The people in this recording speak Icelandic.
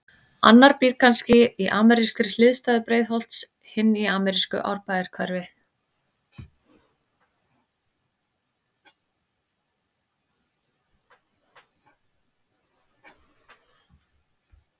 Annar býr kannski í amerískri hliðstæðu Breiðholts, hinn í amerísku Árbæjarhverfi.